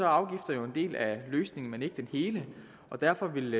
afgifter jo en del af løsningen men ikke den hele og derfor vil